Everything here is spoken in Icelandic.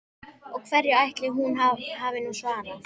Og hverju ætli hún hafi nú svarað?